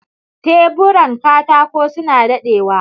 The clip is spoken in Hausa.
Teburan katako suna daɗewa.